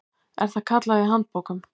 er það kallað í handbókum.